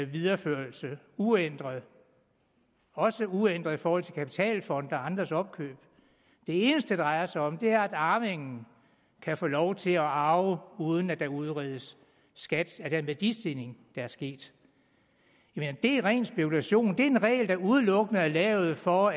videreførelse uændret også uændret i forhold til kapitalfonde og andres opkøb det eneste det drejer sig om er at arvingen kan få lov til at arve uden at der udredes skat af den værdistigning der er sket det er ren spekulation det er en regel der udelukkende er lavet for